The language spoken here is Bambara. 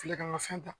Filɛ ka fɛn ta